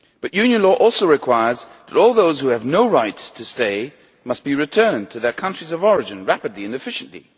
EU law also requires that all those who have no right to stay must be returned to their countries of origin rapidly and efficiently.